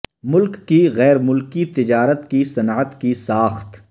ملک کی غیر ملکی تجارت کی صنعت کی ساخت